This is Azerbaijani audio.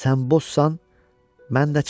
Sən bozsansa, mən də çal.